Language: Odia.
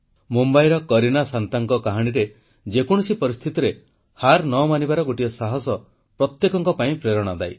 ମୁମ୍ବାଇର କରୀନା ଶାନ୍ତାଙ୍କ କାହାଣୀରେ ଯେକୌଣସି ପରିସ୍ଥିତିରେ ହାର ନ ମାନିବାର ଗୋଟିଏ ସାହସ ପ୍ରତ୍ୟେକଙ୍କ ପାଇଁ ପ୍ରେରଣାଦାୟୀ